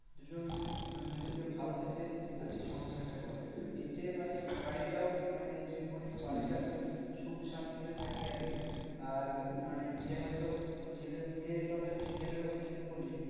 দুজন মানে দুজনকে ভালোবেসে আরকি সংসারটা করে। এতে মানে বাড়িটাও মানে যদি বলিস বাড়িটা খুব সুখ শান্তি তে থাকে আরকি। আর মানে যে হয়ত ছেলে মেয়ের কথা ছেলের কথা যদি বলি